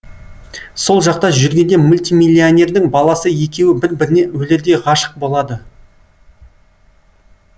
сол жақта жүргенде мультимиллионердің баласы екеуі бір біріне өлердей ғашық болады